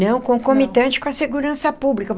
Não, como comitente com a segurança pública.